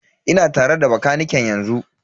Ina tare da bakaniken yanzu.